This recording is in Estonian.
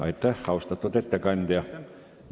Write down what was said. Aitäh, austatud ettekandja!